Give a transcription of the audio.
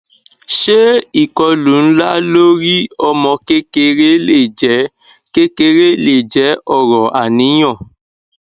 ṣé ìkọlù ńlá lórí ọmọ kékeré lè jẹ kékeré lè jẹ ọrọ àníyàn